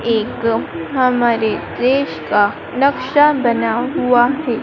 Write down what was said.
एक हमारे देश का नक्शा बना हुआ है।